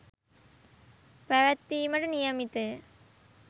පැවැත්වීමට නියමිතය.